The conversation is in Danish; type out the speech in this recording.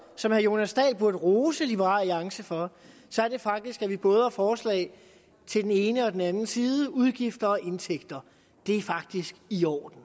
som herre jonas dahl burde rose liberal alliance for så er det faktisk at vi både har forslag til den ene og den anden side om både udgifter og indtægter det er faktisk i orden